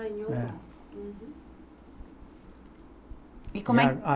Ah, em Osasco. É. Uhum. E como é